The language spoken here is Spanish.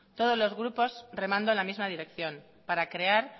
todos los grupos remando en la misma dirección para crear